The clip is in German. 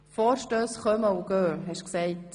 Vorstösse kommen und gehen, hast du gesagt.